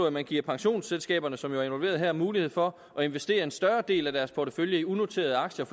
at man giver pensionsselskaberne som jo er involveret her mulighed for at investere en større del af deres portefølje i unoterede aktier